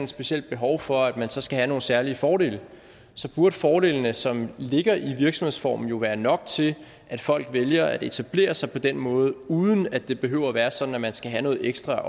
specielt behov for at man så skal have nogle særlige fordele så burde fordelene som ligger i virksomhedsformen jo være nok til at folk vælger at etablere sig på den måde uden at det behøver være sådan at man skal have noget ekstra